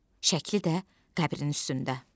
Şəkli də qəbrinin üstündə.